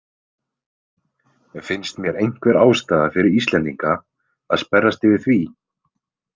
Finnst mér einhver ástæða fyrir Íslendinga að sperrast yfir því?